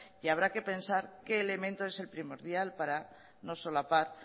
y habrá que pensar qué elemento es el primordial para no solapar